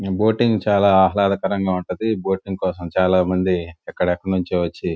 Boating చాలా ఆహ్లదకరంగా ఉంటాది . ఈ బోటింగ్ కోసం చాలా మంది ఎక్కడి ఎక్కడ నుండో వచ్చి--